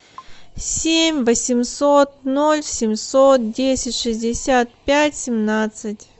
семь восемьсот ноль семьсот десять шестьдесят пять семнадцать